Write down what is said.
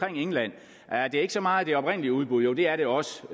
england at det ikke så meget det oprindelige udbud jo det er det også